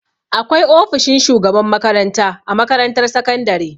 Akwai ofishin shugaban makaranta a makarantar sakandare.